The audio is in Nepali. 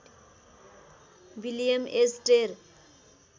विलियम एच टेर